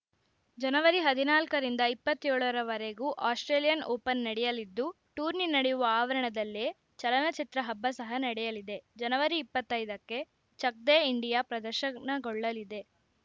ಜನವರಿ ಹದಿನಾಲ್ಕರಿಂದ ಇಪ್ಪತ್ತೇಳರವರೆಗೂ Australian Open ನಡೆಯಲಿದ್ದು ಟೂರ್ನಿ ನಡೆಯುವ ಆವರಣದಲ್ಲೇ ಚಲನಚಿತ್ರ ಹಬ್ಬ ಸಹ ನಡೆಯಲಿದೆ ಜನವರಿ ಇಪ್ಪತ್ತೈದಕ್ಕೆ ಚಕ್‌ ದೇ ಇಂಡಿಯಾ ಪ್ರದರ್ಶನಗೊಳ್ಳಲಿದೆ